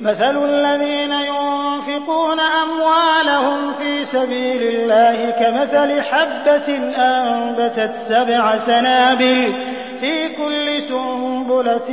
مَّثَلُ الَّذِينَ يُنفِقُونَ أَمْوَالَهُمْ فِي سَبِيلِ اللَّهِ كَمَثَلِ حَبَّةٍ أَنبَتَتْ سَبْعَ سَنَابِلَ فِي كُلِّ سُنبُلَةٍ